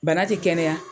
Bana ti kɛnɛya